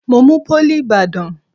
Mo mú pólì ìbàdàn.